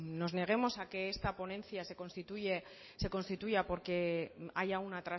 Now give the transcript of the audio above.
nos neguemos a que esta ponencia se constituya porque haya una